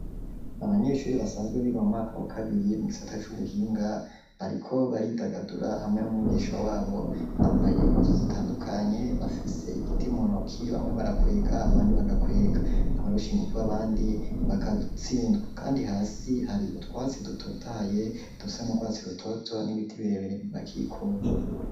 Abanyeshure basanzwe biga mu mwaka wa kabiri mu gisata c'ubuhinga bariko baridagadura hamwe n'umwigisha wabo bambaye impuzu zitandukanye bafise igiti mu ntoki bamwe barakwega abandi bagakwega abarusha ingufu abandi bagatsindwa kandi hasi hari utwatsi dutotaye dusa n'urwatsi rutoto n'ibiti birebere bibakikuje.